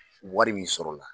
Wari min sɔrɔla la.